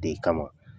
De kama